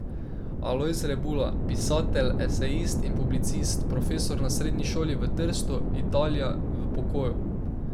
Alojz Rebula, pisatelj, esejist in publicist, profesor na srednji šoli v Trstu, Italija, v pokoju.